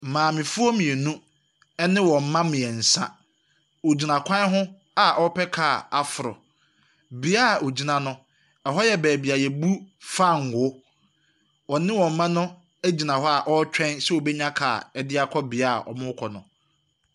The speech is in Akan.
Maamefoɔ mmienu ne wɔn mma mmiɛnsa, wogyina kwan ho a wɔrepɛ car aforo. Beae a wogyina no, ɛhɔ yɛ baabi a wobu fangoo. Wɔne wɔn mma no gyina hɔ sɛ wɔbɛnya car de akɔ beaeɛ a wɔrekɔ no.